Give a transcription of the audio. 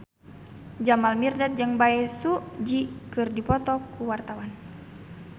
Jamal Mirdad jeung Bae Su Ji keur dipoto ku wartawan